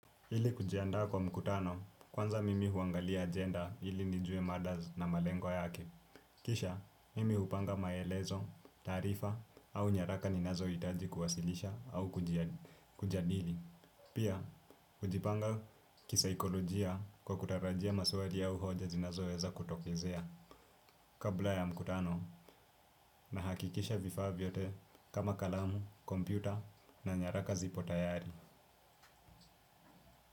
Ili kujiandaa kwa mkutano kwanza mimi huangalia agenda hili nijue mada na malengo yake. Kisha, mimi hupanga maelezo, tarifa au nyaraka ninazo hitaji kuwasilisha au kujadili. Pia, hujipanga kisaikolojia kwa kutarajia maswali au hoja zinazoweza kutokezea. Kabla ya mkutano, nahakikisha vifaa vyote kama kalamu, kompyuta na nyaraka zipo tayari.